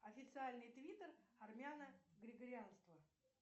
официальный твиттер армяно григорианства